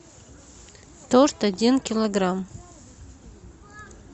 торт один килограмм